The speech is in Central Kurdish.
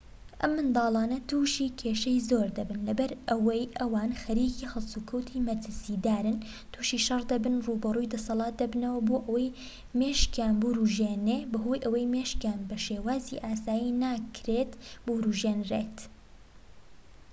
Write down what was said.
ئەم منداڵانە تووشی کێشەی زۆر دەبن لەبەرئەوەی ئەوان خەریکی هەڵسوکەوتی مەترسیدارن تووشی شەڕ دەبن ڕووبەڕووی دەسەلات دەبنەوە بۆ ئەوەی مێشکیان بورژێنێ بەهۆی ئەوەی مێشکیان بە شێوازی ئاسایی ناکرێت بورژێنرێت